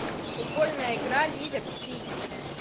футбольная игра ливер сити